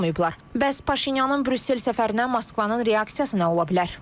Bəs Paşinyanın Brüssel səfərinə Moskvanın reaksiyası nə ola bilər?